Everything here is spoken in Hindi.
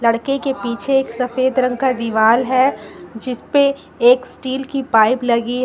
लड़के के पीछे एक सफेद रंग का दिवाल है जीसपे एक स्टील की पाइप लगी है।